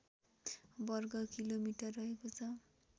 वर्गकिलोमिटर रहेको छ